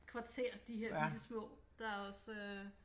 Kvarter de her bitte små der også øh